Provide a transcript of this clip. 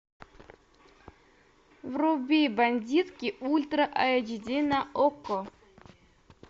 вруби бандитки ультра айч ди на окко